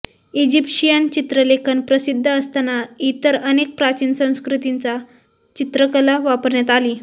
Egyptian चित्रलेखन प्रसिद्ध असताना इतर अनेक प्राचीन संस्कृतींचा चित्रकला वापरण्यात आली